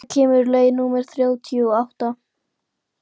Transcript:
Heba, hvenær kemur leið númer þrjátíu og átta?